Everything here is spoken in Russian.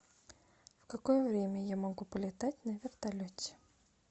в какое время я могу полетать на вертолете